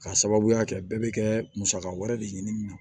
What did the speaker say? K'a sababuya kɛ bɛɛ bɛ kɛ musaka wɛrɛ de ye ɲini